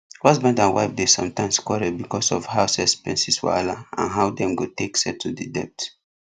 husband and wife dey sometimes quarrel because of house expenses wahala and how dem go take settle the debt